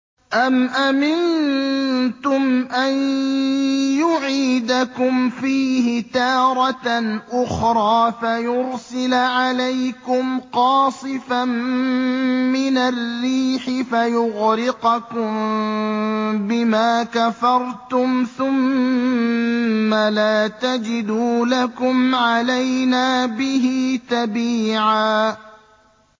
أَمْ أَمِنتُمْ أَن يُعِيدَكُمْ فِيهِ تَارَةً أُخْرَىٰ فَيُرْسِلَ عَلَيْكُمْ قَاصِفًا مِّنَ الرِّيحِ فَيُغْرِقَكُم بِمَا كَفَرْتُمْ ۙ ثُمَّ لَا تَجِدُوا لَكُمْ عَلَيْنَا بِهِ تَبِيعًا